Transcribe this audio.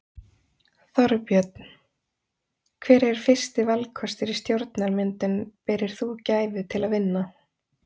Þorbjörn: Hver er fyrsti valkostur í stjórnarmyndun berir þú gæfu til að vinna?